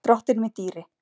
Drottinn minn dýri.